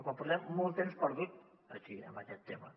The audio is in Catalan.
però portem molt temps perdut aquí en aquest tema